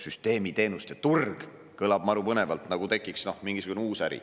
Süsteemiteenuste turg kõlab maru põnevalt, nagu tekiks mingisugune uus äri.